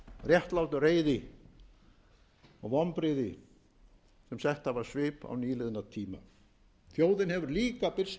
réttlát reiði og vonbrigði sem sett hafa svip á nýliðna tíma þjóðin hefur líka birst